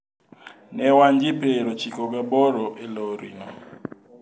Ne wan ji piero ochiko gi aboro e lorino.